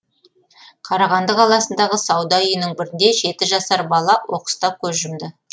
қарағанды қаласындағы сауда үйінің бірінде жеті жасар бала оқыста көз жұмды